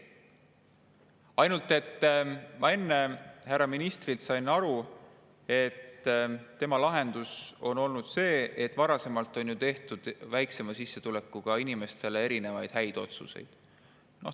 Ainult enne ma sain härra ministri jutust aru, et tema lahendus on see: varasemalt on ju tehtud väiksema sissetulekuga inimestele erinevaid häid otsuseid.